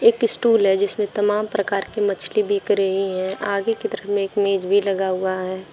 एक स्टूल है जिसमें तमाम प्रकार की मछली बिक रही हैं। आगे की तरफ में एक मेज भी लगा हुआ है।